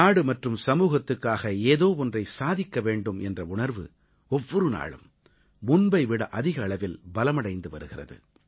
நாடு மற்றும் சமூகத்துக்காக ஏதோ ஒன்றை சாதிக்க வேண்டும் என்ற உணர்வு ஒவ்வொரு நாளும் முன்பை விட அதிக அளவில் பலமடைந்து வருகிறது